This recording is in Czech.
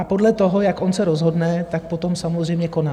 A podle toho, jak on se rozhodne, tak potom samozřejmě koná.